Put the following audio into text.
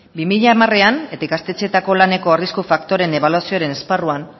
bi mila hamarean eta ikastetxeetako laneko arrisku faktoreen ebaluazioaren esparruan